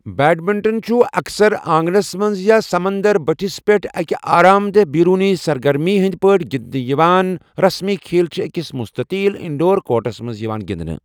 Badminton چھُ اکثر آنٛگنَس منٛز یا سمنٛدَر بٔٹھِس پٮ۪ٹھ اَکہِ آرام دہ بیرونی سرگرمی ہٕنٛدِ پٲٹھۍ گِنٛدِنہٕ یِوان، رسمی کھیل چھِ أکِس مستطیل انڈور کورٹَس پٮ۪ٹھ یِوان گِنٛدِنہٕ۔